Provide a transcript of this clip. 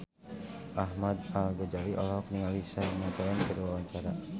Ahmad Al-Ghazali olohok ningali Shania Twain keur diwawancara